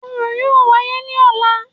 Orò yóò wáyé ní ọlá